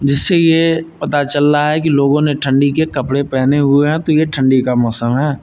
जिससे ये पता चल रहा है कि लोगों ने ठंडी के कपड़े पहने हुए हैं तो ये ठंडी का मौसम है।